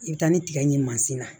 I bɛ taa ni tigɛ ɲi masin na